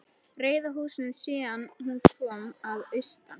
Rauða húsinu síðan hún kom að austan.